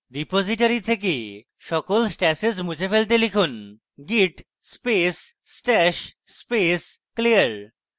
repository থেকে সকল stashes মুছে ফেলতে লিখুন git space stash space clear